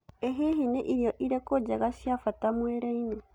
ĩ hihi nĩ irio irĩkũ njega na cĩa mbata mũĩrinĩ